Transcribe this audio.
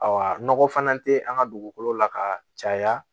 nɔgɔ fana tɛ an ka dugukolo la ka caya